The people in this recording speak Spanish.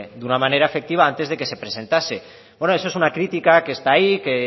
de una manera efectiva antes de que se presentase bueno eso es una crítica que está ahí que